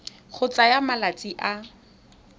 e e tsayang malatsi a